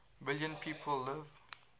million people live